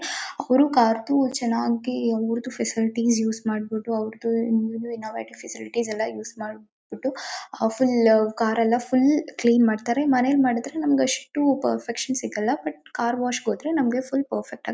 ಅವರು ಕಾರ್ ಚೆನ್ನಾಗಿ ಅವರದು ಫೆಸಿಲಿಟೀಸ್ ಯೂಸ್ ಮಾಡಿಬಿಟ್ಟು ಅವರದು ನ್ಯೂ ಇನೋವೇಟಿವ್ ಫೆಸಿಲಿಟೀಸ್ ಎಲ್ಲಾ ಯೂಸ್ ಮಾಡಿಬಿಟ್ಟು ಫುಲ್ ಕಾರ್ ಎಲ್ಲಾ ಫುಲ್ ಕ್ಲೀನ್ ಮಾಡುತ್ತಾರೆ ಮನೆಯಲ್ಲಿ ಮಾಡಿದರೆ ನಮಗೆ ಅಷ್ಟು ಪರ್ಫೆಕ್ಷನ್ಸ್ ಸಿಗಲ್ಲ ಬಟ್ ಕಾರ್ ವಾಸಿಗೆ ಹೋದರೆ ನಮಗೆ ಫುಲ್ ಪರ್ಫೆಕ್ಟ್ ಆಗಿ.